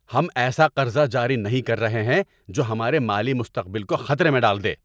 ہم ایسا قرضہ جاری نہیں کر رہے ہیں جو ہمارے مالی مستقبل کو خطرے میں ڈال دے!